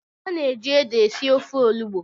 a na-eji ede esi ofe olugbo.